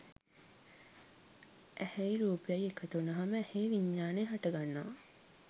ඇහැයි රූපයයි එකතු වුනහම ඇහේ විඤ්ඤාණය හටගන්නවා